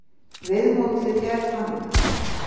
Viðmótið er þannig.